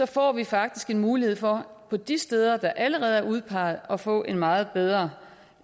får vi faktisk en mulighed for på de steder der allerede er udpeget at få en meget bedre